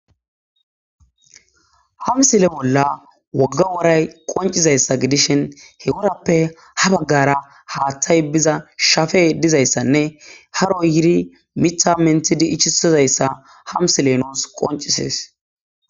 Ha misile bolla woga woray qoncisizaysa gidishn he worappe ha bagara hathey biza shepey dizaysanne haroy yid mitha menthid ichisizaysa ha misiley nus qoncises